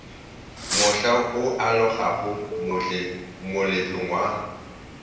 mohla o alogago moletlong wa